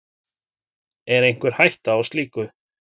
Er einhver hætta á slíku?